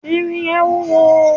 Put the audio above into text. irin yẹn wúwo